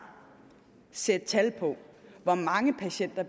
og sætte tal på hvor mange patienter